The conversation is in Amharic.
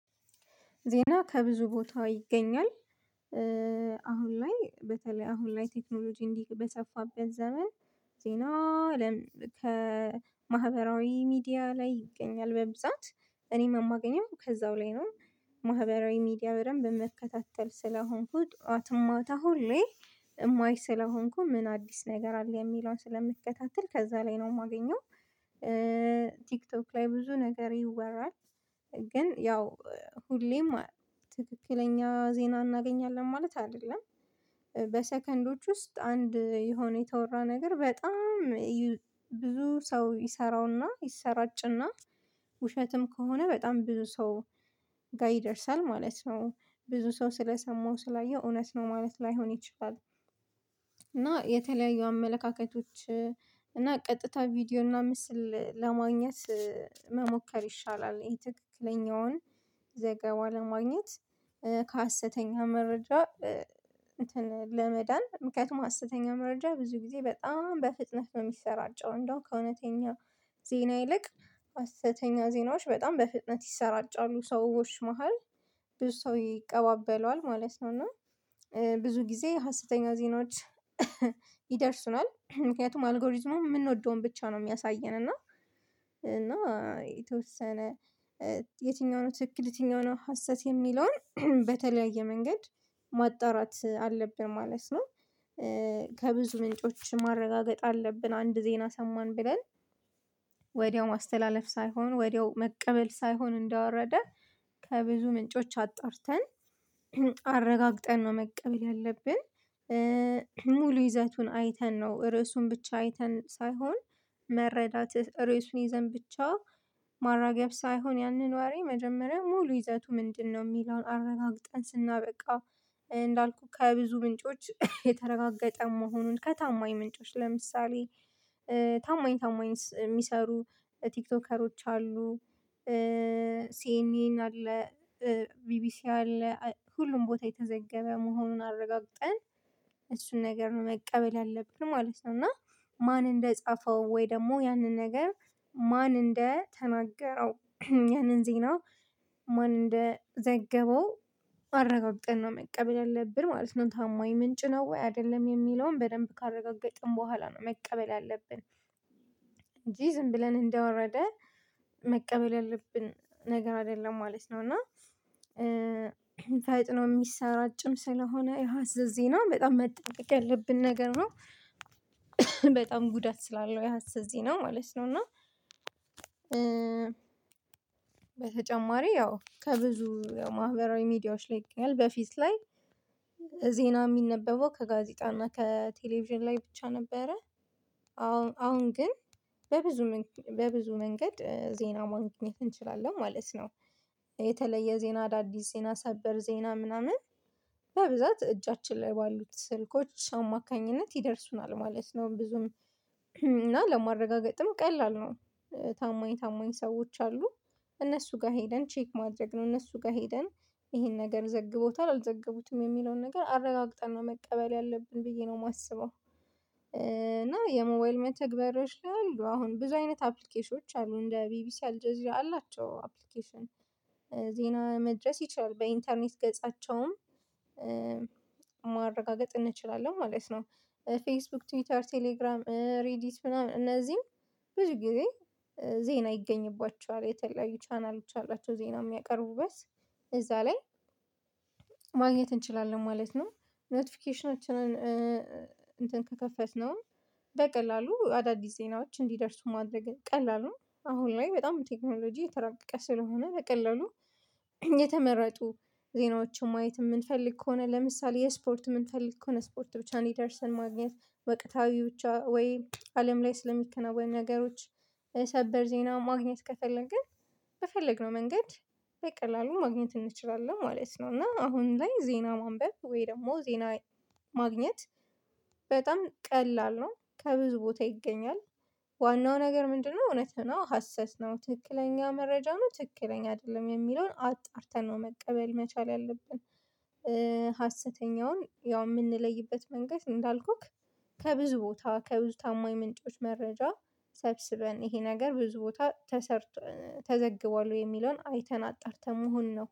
ዜና ከብዙ ቦታ ይገኛል። አሁን ላይ በተለይ አሁን ላይ ቴክኖሎጂ እንዲህ በሰፋበት ዘመን ዜና ለም ከማህበራዊ ሚዲያ ላይ ይገኛል በብዛት እኔም የማገኘው ከዛው ላይ ነው። ማህበራዊ ሚዲያ በደንብ የምከታተል ስለሆንኩት ጠዋትም ማታ ሁሌ የማይ ስለሆንኩ ምን አዲስ ነገር አለ የሚለውን ስለምከታተል ከዛ ላይ ነው የማገኘው። ቲክቶክ ላይ ብዙ ነገር ይወራል። ግን ያው ሁሌም ትክክለኛ ዜና እናገኛለን ማለት አይደለም። በሰከንዶች ውስጥ አንድ የሆነ የተወራ ነገር በጣም ብዙ ሰው ይሰራውና ይሰራጭና ውሸትም ከሆነ በጣም ብዙ ሰው ጋር ይደርሳል ማለት ነው። ብዙ ሰው ስለሰማው ስላየው እውነት ነው ማለት ላይሆን ይችላል። እና የተለያዩ አመለካከቶች እና ቀጥታ ቪዲዮ እና ምስል ለማግኘት መሞከር ይሻላል። ይሄ ትክክለኛውን ዘገባ ለማግኘት ከሀሰተኛ መረጃ። እንትን ለመዳን ምክንያቱም ሀሰተኛ መረጃ ብዙ ጊዜ በጣም በፍጥነት ነው የሚሰራጨው እንደው ከእውነተኛ ዜና ይልቅ ሀሰተኛ ዜናዎች በጣም በፍጥነት ይሰራጫሉ ሰዎች መሃል ብዙ ሰው ይቀባበለዋል ማለት ነው። እና ብዙ ጊዜ ሀሰተኛ ዜናዎች ይደርሱናል ምክንያቱም አልጎሪዝሙ የምንወደውን ብቻ ነው የሚያሳየን። እና እና የተወሰነ የትኛው ነው ትክክል የትኛው ነው ሀሰት የሚለውን በተለያየ መንገድ ማጣራት አለብን ማለት ነው። ከብዙ ምንጮች ማረጋገጥ አለብን አንድ ዜና ሰማን ብለን ወዲያው ማስተላለፍ ሳይሆን ወዲያው መቀበል ሳይሆን እንደወረደ ከብዙ ምንጮች አጣርተን አረጋግጠን ነው መቀበል ያለብን። ሙሉ ይዘቱን አይተን ነው ርዕሱን ብቻ አይተን ሳይሆን መረዳት ርዕሱን ይዘን ብቻ ማራገብ ሳይሆን ያንን ዋሬ መጀመሪያ ሙሉ ይዘቱ ምንድነው የሚለውን አረጋግጠን ስናበቃ? እንዳልኩህ ከብዙ ምንጮች የተረጋገጠ መሆኑን ከታማኝ ምንጮች ለምሳሌ ታማኝ ታማኝ የሚሰሩ ቲክቶከሮች አሉ። ሲኤንኤን አለ። ቢቢሲ አለ ሁሉም ቦታ የተዘገበ መሆኑን አረጋግጠን። እሱን ነገር መቀበል አለብን ማለት ነው። እና ማን እንደጻፈው ወይ ደግሞ ያንን ነገር ማን እንደተናገረው ያንን ዜና ማን እንደዘገበው? አረጋግጠን ነው መቀበል ያለብን ማለት ነው። ታማኝ ምንጭ ነው ወይ አይደለም የሚለውን በደንብ ካረጋገጥን በኋላ ነው መቀበል ያለብን። እንጂ ዝም ብለን እንደወረደ መቀበል ያለብን ነገር አይደለም ማለት ነው። እና ፈጥኖ የሚሰራጭም ስለሆነ የሀሰት ዜና በጣም መጠቀቅ ያለብን ነገር ነው። በጣም ጉዳት ስላለው የሀሰት ዜና ማለት ነው። እና በተጨማሪ ያው ከብዙ ማህበራዊ ሚዲያዎች ላይ በፊት ላይ ዜና የሚነበበው ከጋዜጣ እና ከቴሌቪዥን ላይ ብቻ ነበረ። አሁን ግን በብዙ በብዙ መንገድ ዜና ማግኘት እንችላለን ማለት ነው። የተለየ ዜና አዳዲስ ዜና ሰበር ዜና ምናምን በብዛት እጃችን ላይ ባሉት ስልኮች አማካኝነት ይደርሱናል ማለት ነው። ብዙም እና ለማረጋገጥም ቀላል ነው። ታማኝ ታማኝ ሰዎች አሉ እነሱ ጋር ሄደን ቼክ ማድረግ ነው እነሱ ጋር ሄደን ይሄን ነገር ዘግቦታል አልዘገቡትም የሚለውን ነገር አረጋግጠን ነው መቀበል ያለብን ብዬ ነው የማስበው። እና የሞዋይል መተግበሪያዎች ላይ አሉ አሁን ብዙ አይነት አፕሊኬሽኖች አሉ እንደ ቢቢሲ አልጀዚራ አላቸው አፕሊኬሽን ዜና መድረስ ይችላል በኢንተርኔት ገጻቸውም ማረጋገጥ እንችላለን ማለት ነው። ፌስቡክ ትዊተር ቴሌግራም ሬዲት ምናምን እነዚህም ብዙ ጊዜ ዜና ይገኝባቸዋል የተለያዩ ቻናሎች አላቸው ዜና የሚያቀርቡበት እዛ ላይ ማግኘት እንችላለን ማለት ነው። ኖቲፊኬሽናችንን እንትን ከከፈትነው በቀላሉ አዳዲስ ዜናዎች እንዲደርሱ ማድረግ ቀላል ነው። አሁን ላይ በጣም በቴክኖሎጂ የተረራቀቀ ስለሆነ በቀላሉ የተመረጡ ዜናዎችን ማየት የምንፈልግ ከሆነ ለምሳሌ የስፖርት የምንፈልግ ከሆነ ስፖርት ብቻ እንዲደርስን ማግኘት ወቅታዊ ብቻ ወይ አለም ላይ ስለሚከናወን ነገሮች ሰበር ዜና ማግኘት ከፈለግን በፈለግነው መንገድ በቀላሉ ማግኘት እንችላለን ማለት ነው። እና አሁን ላይ ዜና ማንበብ ወይ ደግሞ ዜና ማግኘት በጣም ቀላል ነው ከብዙ ቦታ ይገኛል። ዋናው ነገር ምንድነው? እውነት ነው ሀሰት ነው ትክክለኛ መረጃ ነው ትክክለኛ አይደለም የሚለውን አጣርተን ነው መቀበል መቻል ያለብን። ሀሰተኛውን ያው የምንለይበት መንገድ እንዳልኩክ ከብዙ ቦታ ከብዙ ታማኝ ምንጮች መረጃ ሰብስበን ይሄ ነገር ብዙ ቦታ ተሰርቶ ተዘግቧል ወይ የሚለውን አይተን አጣርተን መሆኑ ነው